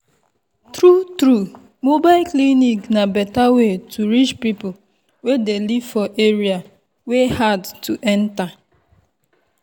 true true mobile clinic na better way to reach people wey dey live for area wey hard to enter.